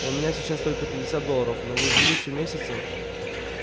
у меня сейчас только пятьдесят долларов но вы в будущем месяце